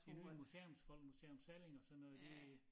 De nye museumsfolk museum Salling og sådan noget de